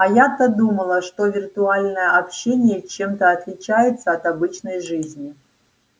а я-то думала что виртуальное общение чем-то отличается от обычной жизни